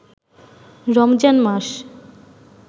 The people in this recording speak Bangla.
রমজান মাস